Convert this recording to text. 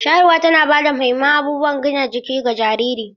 Shayarwa tana ba da muhimman abubuwan gina jiki ga jariri.